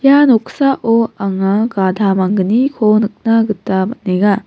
ia noksao anga gada manggniko nikna gita man·enga.